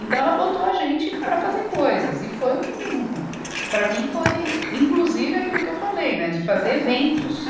Então, ela botou a gente para fazer coisas e foi um, para mim, foi inclusive aquilo que eu falei, né, de fazer eventos.